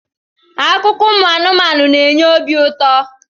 Akụkọ ụmụ anụmanụ na enye obi ụtọ